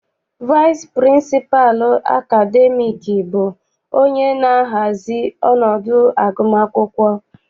Vaịsị pịrịnsịpalụ akademiiki bụ onye na-ahazi ọnọdụ agụmakwụkwọ.